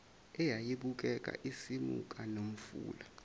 eyayibukeka isimuka nomfula